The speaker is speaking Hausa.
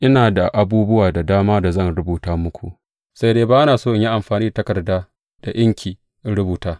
Ina da abubuwa da dama da zan rubuta muku, sai dai ba na so in yi amfani da takarda da inki in rubuta.